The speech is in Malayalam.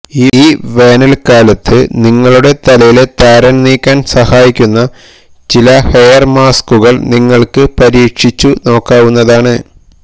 ഈ വേനല്ക്കലത്ത് നിങ്ങളുടെ തലയിലെ താരന് നീക്കാന് സഹായിക്കുന്ന ചില ഹെയര് മാസ്കുകള് നിങ്ങള്ക്ക് പരീക്ഷിച്ചു നോക്കാവുന്നതാണ്